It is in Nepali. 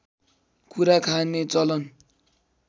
कुरा खाने चलन